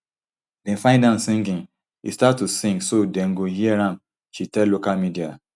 dem find am singing e start to sing so dem go hear am she tell local media